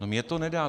No mně to nedá.